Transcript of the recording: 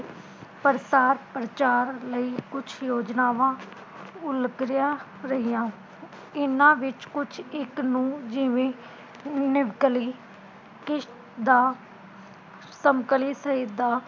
ਪ੍ਰਸਾਰ ਪ੍ਰਚਾਰ ਲਈ ਕੁਝ ਯੋਜਨਾਵਾਂ ਉਲਗਰੇਆਂ ਰਹੀਆਂ, ਇਹਨਾਂ ਵਿਚ ਕੁਝ ਇਕ ਨੂੰ ਜਿਵੇ ਨਿਵਕਲੀ ਕਿਸ਼ਤ ਦਾ ਸਮਕਲਿਤ ਸਾਹਿਤਾ